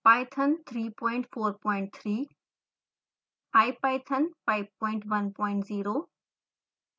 python 343